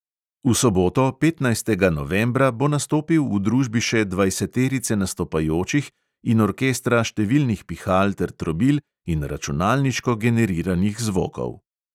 V soboto, petnajstega novembra, bo nastopil v družbi še dvajseterice nastopajočih in orkestra številnih pihal ter trobil in računalniško generiranih zvokov.